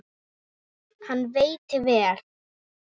Hann veitti vel